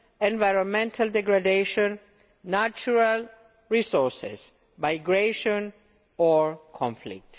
environmental degradation, natural resources, migration or conflict.